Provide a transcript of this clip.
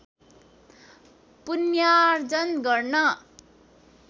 पुण्यार्जन गर्न